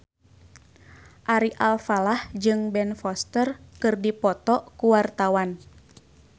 Ari Alfalah jeung Ben Foster keur dipoto ku wartawan